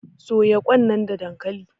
soya Kwan nan da dankali?